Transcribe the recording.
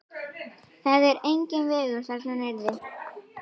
Það er enginn vegur þarna niðri.